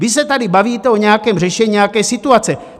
Vy se tady bavíte o nějakém řešení nějaké situace.